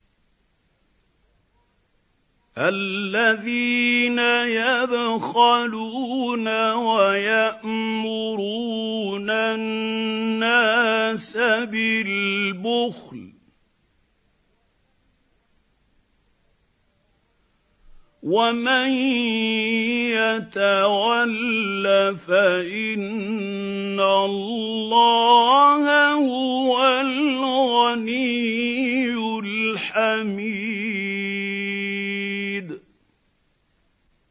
الَّذِينَ يَبْخَلُونَ وَيَأْمُرُونَ النَّاسَ بِالْبُخْلِ ۗ وَمَن يَتَوَلَّ فَإِنَّ اللَّهَ هُوَ الْغَنِيُّ الْحَمِيدُ